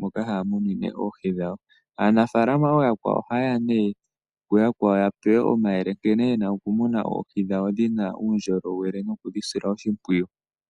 moka haya munine oohi dhawo. Aanafaalama ohaye ye ya nduno kaanafaalama ooyakwawo, opo ya pewe omayele nkene ye na okumuna oohi dhawo dhi na uundjolowele nokudhi sila oshimpwiyu.